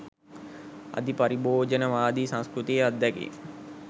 අධි පරිභෝජනවාදී සංස්කෘතියේ අත්දැකීම්